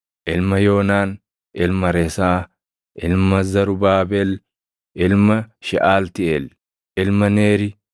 ilma Yoonaan, ilma Resaa, ilma Zarubaabel, ilma Sheʼaltiiʼeel, ilma Neeri,